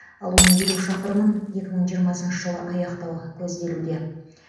ал оның елу шақырымын екі мың жиырмасыншы жылы аяқтау көзделуде